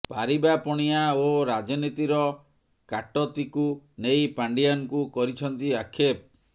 ପାରିବା ପଣିଆ ଓ ରାଜନୀତିର କାଟତୀକୁ ନେଇ ପାଣ୍ଡିଆନଙ୍କୁ କରିଛନ୍ତି ଆକ୍ଷେପ